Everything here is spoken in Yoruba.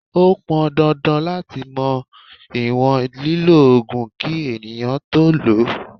Ó pọn dandan láti mọ ìwọ̀n lílọ Ògùn kí ènìyàn tó lọ.